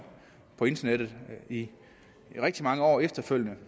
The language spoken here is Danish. på internettet i rigtig mange år efterfølgende